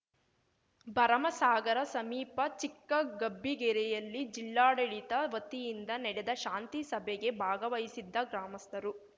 ಭರಮಸಾಗರ ಸಮೀಪ ಚಿಕ್ಕಗಬ್ಬಿಗೆರೆಯಲ್ಲಿ ಜಿಲ್ಲಾಡಳಿತ ವತಿಯಿಂದ ನಡೆದ ಶಾಂತಿ ಸಭೆಗೆ ಭಾಗವಹಿಸಿದ್ದ ಗ್ರಾಮಸ್ಥರು